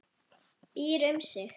Býr um sig.